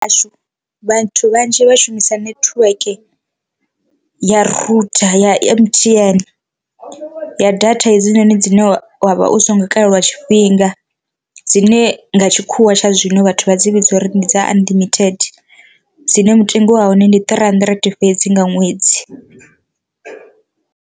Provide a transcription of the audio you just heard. Hashu vhathu vhanzhi vha shumisa netiweke ya rutha ya M_T_N ya data hedzinoni dzine wavha u si ngo kalelwa tshifhinga dzine nga tshikhuwa tsha zwino vhathu vha dzi vhidza uri ndi dza unlimited, dzine mutengo wa hone ndi three hundred fhedzi nga ṅwedzi.